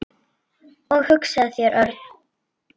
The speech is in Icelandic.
Og hugsaðu þér, Örn.